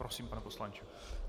Prosím, pane poslanče.